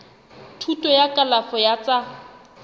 thuto ya kalafo ya tsa